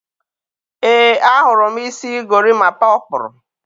e, a hụrụ m isi gorimapa ọ kpụrụ.